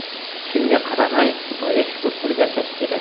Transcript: Shunga qaramay, Xudoga shukr qilib yashash kerak.